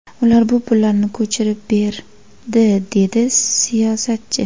Ular bu pullarni ko‘chirib berdi”, dedi siyosatchi.